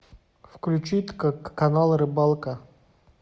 включить канал рыбалка